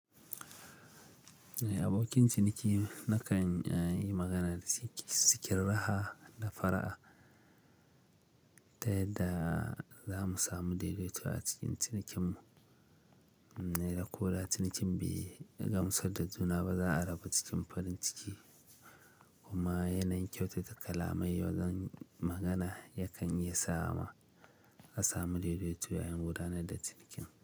Abokin ciniki nakan yi magana da shi cikin raha da fara'a ta yadda za mu samu daidaito a cikin cinikin mu. Da ko da cinikin bai gamsar da juna ba za a rabu cikin farin ciki kuma yanayin kyautata kalamai wajen magana yakan iya sa mu samu daidaito bayan gudanar da cinikin.